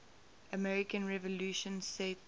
american revolution set